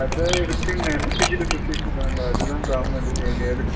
கத இருக்குனு நெனச்சிட்டு சுத்திட்டு இருக்காங்க அதுத comedy யே.